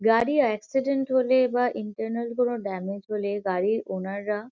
গাড়ি একসিডেন্ট হলে বা ইন্টারনাল কোনো ড্যামেজ হলে গাড়ির ওনার -রা--